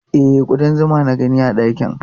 E, kuɗan zuma na gani a ɗakin.